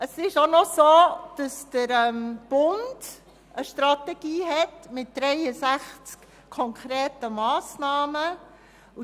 Es ist auch noch so, dass der Bund eine Strategie mit 63 konkreten Massnahmen hat.